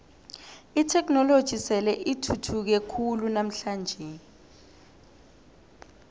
itheknoloji sele ithuthuke khulu namhlanje